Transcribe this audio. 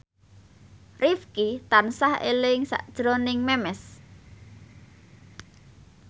Rifqi tansah eling sakjroning Memes